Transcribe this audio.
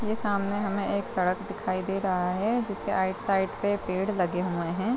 ये सामने हमें एक सड़क दिखाई दे रहा है जिसके आइड-साइड पे पेड़ लगे हुए है ।